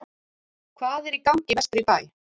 Hvað er í gangi vestur í bæ?